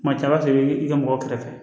Kuma caman i bi ka mɔgɔ kɛrɛfɛ